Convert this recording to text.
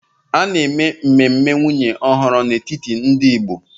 A na-eme mmemme nwunye ọhụrụ n'etiti ndị Igbo